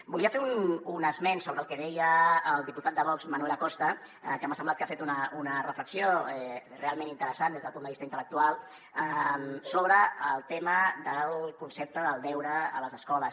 volia fer un esment del que deia el diputat de vox manuel acosta que m’ha semblat que ha fet una reflexió realment interessant des del punt de vista intel·lectual sobre el tema del concepte del deure a les escoles